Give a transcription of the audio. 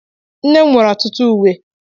Nne m nwere ọtụtụ uwe.